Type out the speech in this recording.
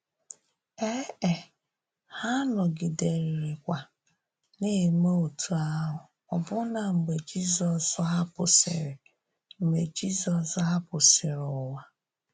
Ēē, ha nọgìdèrịrịkwa na-eme otú ahụ ọbụ́nà mgbe Jizọs hàpụsìrì mgbe Jizọs hàpụsìrì ụwa.